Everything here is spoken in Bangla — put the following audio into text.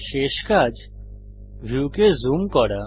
শেষ কাজ ভিউকে জুম করা